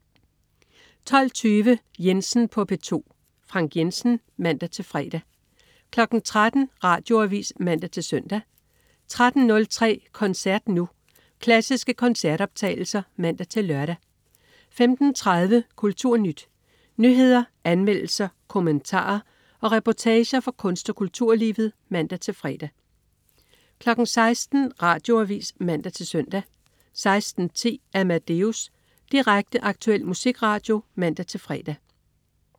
12.20 Jensen på P2. Frank Jensen (man-fre) 13.00 Radioavis (man-søn) 13.03 Koncert Nu. Klassiske koncertoptagelser (man-lør) 15.30 KulturNyt. Nyheder, anmeldelser, kommentarer og reportager fra kunst- og kulturlivet (man-fre) 16.00 Radioavis (man-søn) 16.10 Amadeus. Direkte, aktuel musikradio (man-fre)